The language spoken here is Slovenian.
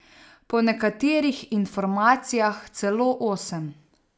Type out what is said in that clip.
Po nekaterih informacijah celo osem.